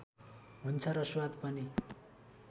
हुन्छ र स्वाद पनि